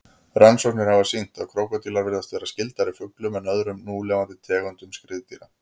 Rannsóknir hafa sýnt að krókódílar virðast vera skyldari fuglum en öðrum núlifandi tegundum skriðdýra.